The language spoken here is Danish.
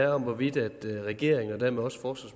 om var hvorvidt regeringen og dermed også også